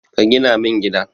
Ka gina min gida.